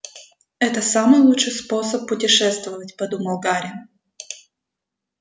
это самый лучший способ путешествовать подумал гарри